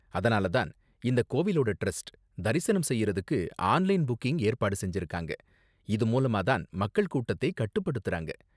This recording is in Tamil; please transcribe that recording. அதனால தான் இந்த கோவிலோட டிரஸ்ட் தரிசனம் செய்யறதுக்கு ஆன்லைன் புக்கிங் ஏற்பாடு செஞ்சிருக்காங்க, இது மூலமா தான் மக்கள் கூட்டத்தை கட்டுப்படுத்தறாங்க